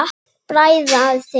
Bræða þig.